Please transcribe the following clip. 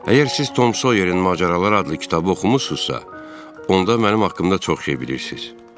Əgər siz Tom Soyerin macəraları adlı kitabı oxumusunuzsa, onda mənim haqqımda çox şey bilirsiz.